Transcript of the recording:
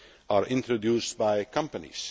cases are introduced by companies.